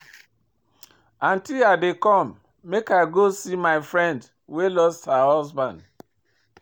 Aunty I dey come make I go see my friend wey lose her husband